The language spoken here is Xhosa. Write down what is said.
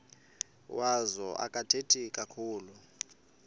wazo akathethi kakhulu